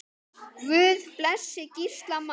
Guð blessi Gísla Má.